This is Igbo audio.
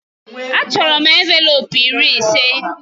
Achọrọ m envelopu iri ise.